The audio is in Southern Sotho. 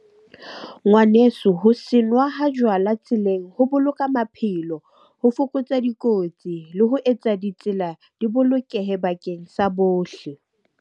Ngwaneso, ho senwa ha jwala tseleng ho boloka maphelo. Ho fokotsa dikotsi le ho etsa ditsela di bolokehe bakeng sa bohle.